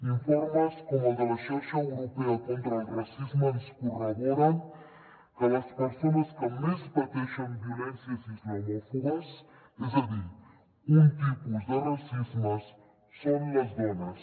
informes com el de la xarxa europea contra el racisme ens corroboren que les persones que més pateixen violències islamòfobes és a dir un tipus de racisme són les dones